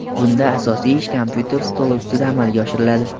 Bunda asosiy ish kompyuter stoli ustida amalga oshiriladi.